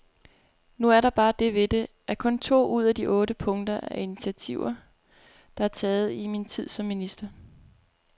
Nu er der bare det ved det, at kun to ud af de otte punkter er initiativer, der er taget i min tid som minister.